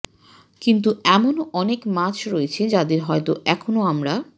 কিন্তু এমনও অনেক মাছ রয়েছে যাদের হয়তো এখনো আমরা